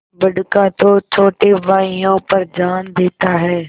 बड़का तो छोटे भाइयों पर जान देता हैं